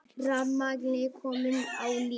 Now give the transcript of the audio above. Rafmagnið komið á ný